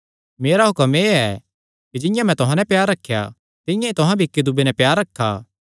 मेरा हुक्म एह़ ऐ कि जिंआं मैं तुहां नैं प्यार रखेया तिंआं ई तुहां भी इक्की दूये नैं प्यार रखा